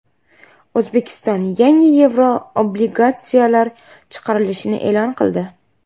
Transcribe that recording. O‘zbekiston yangi yevroobligatsiyalar chiqarilishini e’lon qildi.